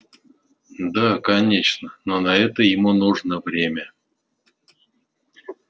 да конечно но на это ему нужно время